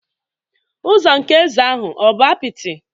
Ụzọ nke eze ahụ ọ̀ bụ apịtị?